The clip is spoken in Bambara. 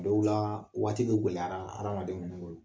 Dɔw laa waati be gwɛlɛyala adamadenw boolo.